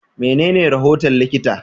Menene rahoton likita?